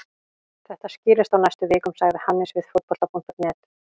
Þetta skýrist á næstu vikum, sagði Hannes við Fótbolta.net.